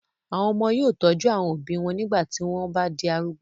àwọn ọmọ yóò tọ́jú àwọn òbí wọn nígbà tí wọn o bá di arúgbó